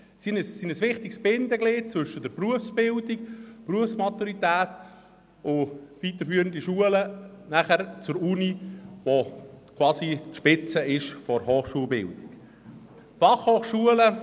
Sie sind ein wichtiges Bindeglied zwischen der Berufsbildung, der Berufsmaturität und der Universität, welche quasi die Spitze der Hochschulbildung darstellt.